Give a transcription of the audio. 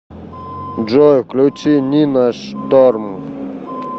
джой включи нина шторм